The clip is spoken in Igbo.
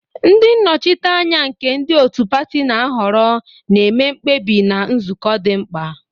Ndị nnọchiteanya, nke ndị otu pati na-ahọrọ, na-eme mkpebi na nzukọ di mkpa.